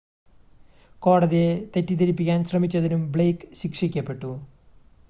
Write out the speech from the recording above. കോടതിയെ തെറ്റിദ്ധരിപ്പിക്കാൻ ശ്രമിച്ചതിനും ബ്ലെയ്ക്ക് ശിക്ഷിക്കപ്പെട്ടു